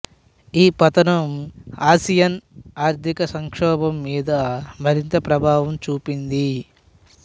ఈ పతనం ఆసియన్ ఆర్థిక సంక్షోభం మీద మరింత ప్రభావం చూపింది